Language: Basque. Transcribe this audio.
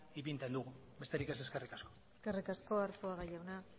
ipintzen du besterik ez eskerrik asko arzuaga jauna